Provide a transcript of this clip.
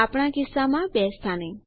આપણા કિસ્સામાં બે સ્થાને